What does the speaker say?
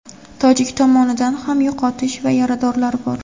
tojik tomonidan ham yo‘qotish va yaradorlar bor.